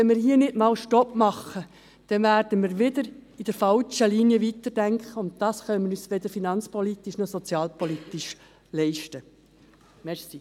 Wenn wir hier keinen Stopp machen, werden wir wieder in der falschen Linie weiterdenken, und das können wir uns weder finanzpolitisch noch sozialpolitisch leisten.